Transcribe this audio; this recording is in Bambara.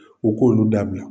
U k' olu da bila.